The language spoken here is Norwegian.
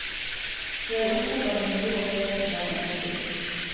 De er opptatt av den ro og fred som landet tilbyr.